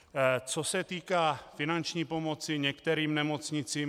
Co se týká finanční pomoci některým nemocnicím.